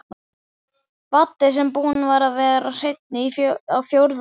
Baddi sem búinn var að vera hreinn á fjórða ár.